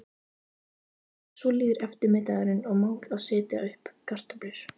Svo líður eftirmiðdagurinn og mál að setja upp kartöflur.